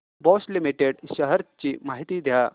Bosch limited shares ची माहिती द्या